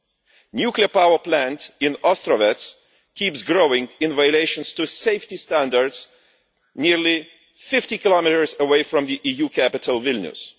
The nuclear power plant in Ostrovets keeps growing, in violation of safety standards, nearly 50 kilometres away from an EU capital Vilnius.